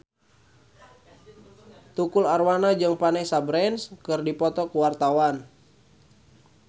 Tukul Arwana jeung Vanessa Branch keur dipoto ku wartawan